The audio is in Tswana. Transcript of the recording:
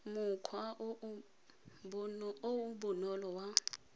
mokgwa o o bonolo wa